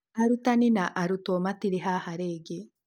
Aarutani na arutwo matĩrĩ haha rĩngĩ.